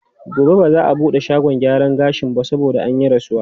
Gobe ba za a buɗe shagon gyaran gashin ba saboda an yi rasuwa.